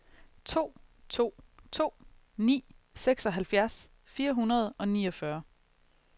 to to to ni seksoghalvfjerds fire hundrede og niogfyrre